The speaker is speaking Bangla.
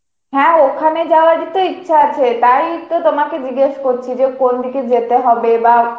হ্যা ওখানে যাওয়ার ই তো ইচ্ছে আছে তাই তো তোমাকে জিগেস করছি যে কোন দিকে যেতে হবে বা